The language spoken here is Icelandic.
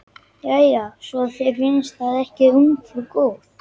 Jæja, svo þér finnst það ekki ungfrú góð.